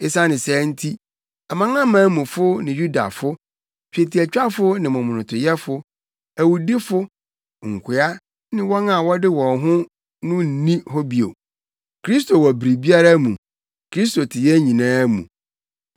Esiane saa nti, amanamanmufo ne Yudafo, twetiatwafo ne momonotoyɛ, awudifo, nkoa ne wɔn a wɔde wɔn ho no nni hɔ bio. Kristo wɔ biribiara mu. Kristo te yɛn nyinaa mu.